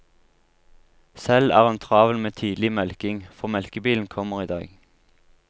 Selv er hun travel med tidlig melking, for melkebilen kommer i dag.